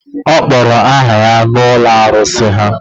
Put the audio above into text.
Ọ kpọrọ aha ya n’ụlọ arụsị ha